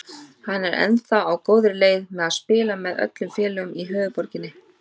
Hann er því á góðri leið með að spila með öllum félögum í höfuðborginni.